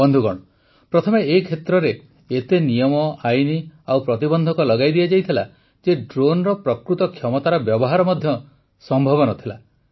ବନ୍ଧୁଗଣ ପ୍ରଥମେ ଏ କ୍ଷେତ୍ରରେ ଏତେ ନିୟମ ଆଇନ ଓ ପ୍ରତିବନ୍ଧକ ଲଗାଇ ଦିଆଯାଇଥିଲା ଯେ ଡ୍ରୋନର ପ୍ରକୃତ କ୍ଷମତାର ବ୍ୟବହାର ମଧ୍ୟ ସମ୍ଭବ ନ ଥିଲା